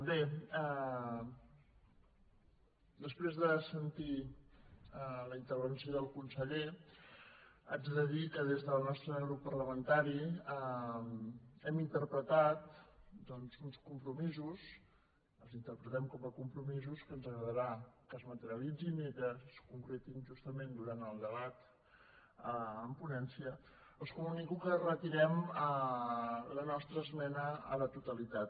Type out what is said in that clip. bé després de sentir la intervenció del conseller haig de dir que des del nostre grup parlamentari hem interpretat doncs uns compromisos els interpretem com a compromisos que ens agradarà que es materialitzin i que es concretin justament durant el debat en ponència els comunico que retirem la nostra esmena a la totalitat